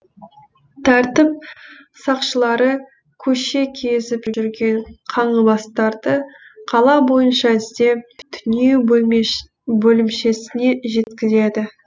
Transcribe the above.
тәртіп сақшылары көше кезіп жүрген қаңғыбастарды қала бойынша іздеп түнеу бөлімшесіне жеткізеді